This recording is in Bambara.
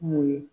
Mun ye